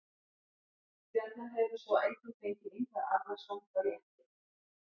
Stjarnan hefur svo einnig fengið Ingvar Arnarson frá Létti.